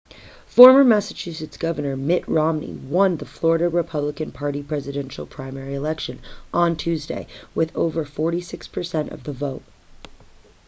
former massachusetts governor mitt romney won the florida republican party presidential primary election on tuesday with over 46% of the vote